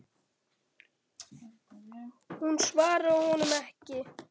Hún svaraði honum ekki.